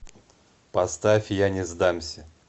поставь я не сдамся